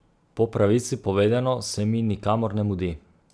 Po pravici povedano se mi nikamor ne mudi.